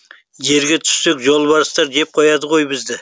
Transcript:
жерге түссек жолбарыстар жеп қояды ғой бізді